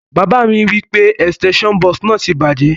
Bàbá mi wipe extension box náà ti bàjẹ́